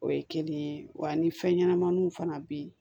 O ye kelen ye wa ni fɛn ɲɛnamaniw fana bɛ yen